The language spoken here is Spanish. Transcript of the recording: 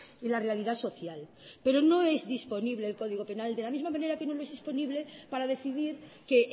y la realidad social pero no es disponible el código penal de la misma manera que no le es disponible para decidir que